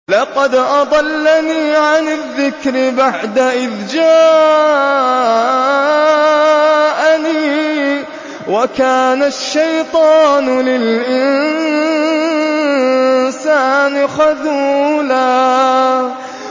لَّقَدْ أَضَلَّنِي عَنِ الذِّكْرِ بَعْدَ إِذْ جَاءَنِي ۗ وَكَانَ الشَّيْطَانُ لِلْإِنسَانِ خَذُولًا